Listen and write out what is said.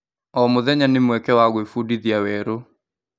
O mũtenya nĩ mweke wa gwĩbundithia werũ.